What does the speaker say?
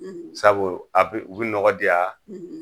Sabu a pe u bi nɔgɔ di nɔgɔ diyan